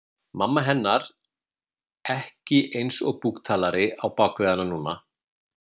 Mamma hennar ekki eins og búktalari á bak við hana núna.